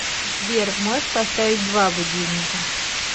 сбер можешь поставить два будильника